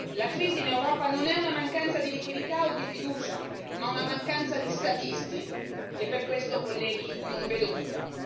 La crisi in Europa non è una mancanza di liquidità o di fiducia, ma una mancanza di statisti e per questo, colleghi, non vedo cura.